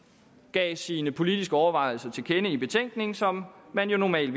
gav sine politiske overvejelser til kende i en betænkning som man jo normalt